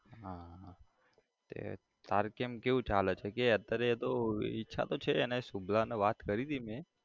હા કે તારે કેમ કેવું ચાલે છે કે અત્યારે તો ઈચ્છા તો છે એને શુભલાને વાત કરી હતી મે